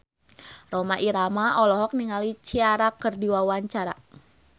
Rhoma Irama olohok ningali Ciara keur diwawancara